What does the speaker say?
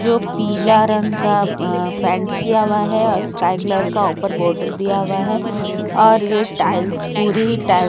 जो पीला रंग का अ अ पैंट किया हुआ है और स्काई कलर का अपर बार्डर दिया हुआ है और यह टाइल्स पूरी ही टाइल्स --